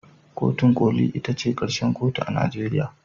Kotun koli ita ce karshen kotu a Najeriya